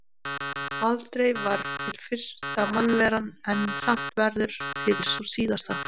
Aldrei var til fyrsta mannveran en samt verður til sú síðasta.